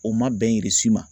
O ma bɛn Irisi ma